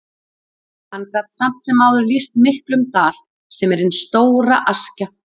Hann gat samt sem áður lýst miklum dal, sem er hin stóra Askja.